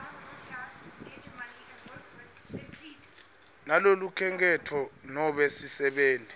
nelukhenkhetfo nobe sisebenti